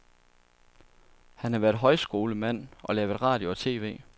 Han har været højskolemand og lavet radio og tv.